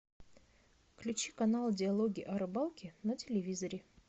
включи канал диалоги о рыбалке на телевизоре